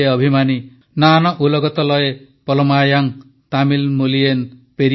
ନାନ ଉଲଗତଲୟେ ପଲମାୟାଂ ତାମିଲ ମୋଲିୟନ ପେରିୟେ ଅଭିମାନୀ